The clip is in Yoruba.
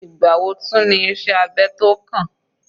Ìgbà wo tún ní iṣẹ́ abẹ tó kàn?